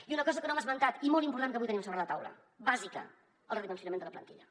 i una cosa que no hem esmentat i molt important que avui tenim sobre la taula bàsica el redimensionament de la plantilla